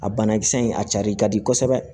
A banakisɛ in a cari ka di kosɛbɛ